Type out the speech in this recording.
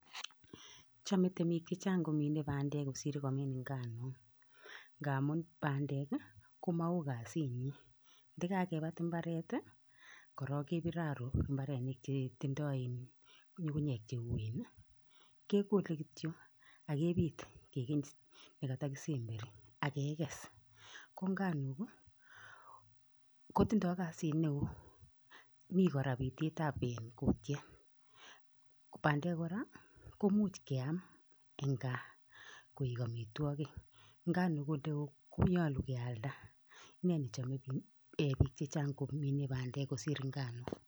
chame temiik komine pandeek kosiir komiin nganook namuun pandeek komawooh kaziit nyiin ndakakibuut mbaret ii korong kibiir arooh mbarerenik chetindai ngungunyeeek che uen ii kegole kityo akibiit nekatoi kisemberii ko nganook ii kotindai kaziit ne wooh miten biteet ab kutiet pandeek kora koimuuch keyaaam en gaah koek amitwagiik ngaan ole wooh ko nyaluu keyalda ne ne chameeh biik komine pabdeek kosiir nganok.